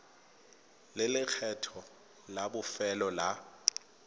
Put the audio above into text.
le lekgetho la bofelo la